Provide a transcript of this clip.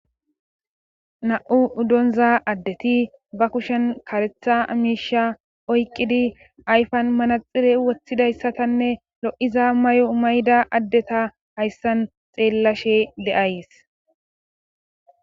na7u uddonza addeti ba kushen karetha miisha oyqqidi ayfan manaxire woththidayssatanne lo7iza may7o mayda addeta hayssan xeellashe de7ays